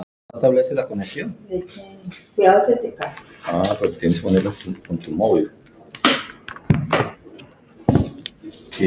Halli kinkaði kolli.